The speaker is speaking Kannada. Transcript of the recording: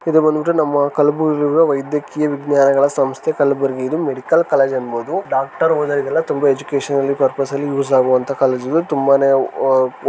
ಈದ್ ಬಂದ್ ಬಿಟ್ಟು ನಮ್ಮ ಕಲಬುರ್ಗಿಯ ವೈದ್ಯಕೀಯ ವಿಜ್ಞಾನಗಳ ಸಂಸ್ಥೆ ಕಲಬುರ್ಗಿ ಇದು ಮೆಡಿಕಲ್ ಕಾಲೇಜು ಡಾಕ್ಟರ್ ಓಡಾಡೋದ್ರಲ್ಲಿ ಎಜುಕೇಶನ್ ಪ್ರಪೋಸ್ ನಲ್ಲಿ ತುಂಬಾ ಯೂಸ್ ಆಗೋವಂತಹ ಕಾಲೇಜು ಇದು ತುಂಬಾನೇ ಒ --